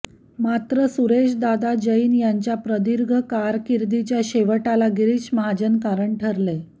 मात्र सुरेशदादा जैन यांच्या प्रदीर्घ कारकीर्दीच्या शेवटाला गिरीश महाजन कारण ठरले